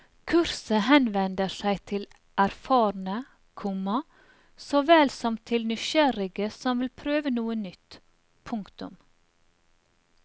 Kurset henvender seg til erfarne, komma såvel som til nysgjerrige som vil prøve noe nytt. punktum